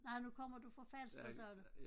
Nej nu kommer du fra Falster sagde du